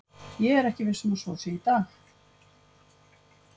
Ég er ekki viss um að svo sé í dag.